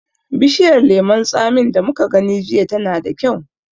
Bishiyar lemon tsamin da muka gani jiya tana da kyau.